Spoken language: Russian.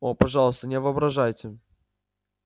о пожалуйста не воображайте